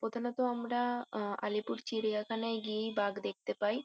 প্রথমে তো আমরা আ আলিপুর চিড়িয়াখানায় গিয়েই বাঘ দেখতে পাই।